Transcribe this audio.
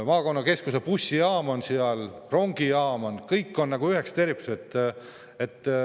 Maakonnakeskuse bussijaam on seal, rongijaam on, kõik on nagu üks tervik.